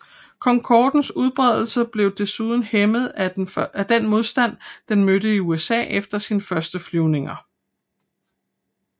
Concordens udbredelse blev desuden hæmmet af den modstand den mødte i USA efter sine første flyvninger